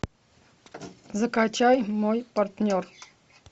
закачай мой партнер